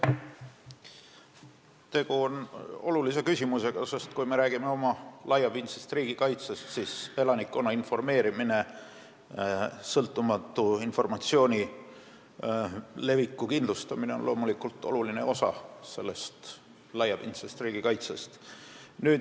Tegu on olulise küsimusega, sest kui me räägime laiapindsest riigikaitsest, siis elanikkonna informeerimine, sõltumatu informatsiooni leviku kindlustamine on loomulikult oluline osa sellest.